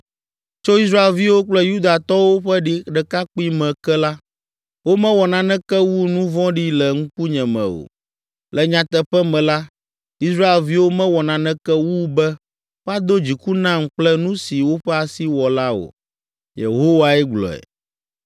“Tso Israelviwo kple Yudatɔwo ƒe ɖekakpuime ke la, womewɔ naneke wu nu vɔ̃ɖi le ŋkunye me o. Le nyateƒe me la, Israelviwo mewɔ naneke wu be woado dziku nam kple nu si woƒe asi wɔ la, o.” Yehowae gblɔe.